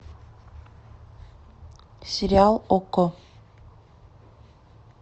сериал окко